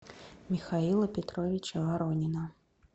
михаила петровича воронина